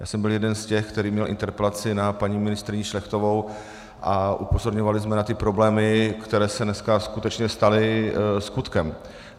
Já jsem byl jeden z těch, který měl interpelaci na paní ministryni Šlechtovou, a upozorňovali jsme na ty problémy, které se dneska skutečně staly skutkem.